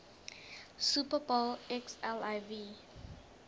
super bowl xliv